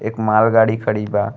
एक माल गाड़ी खड़ी बा।